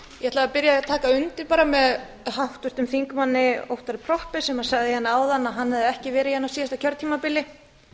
því að taka undir með háttvirtum þingmanni óttari proppé sem sagði áðan að hann hefði ekki verið hérna á síðasta kjörtímabili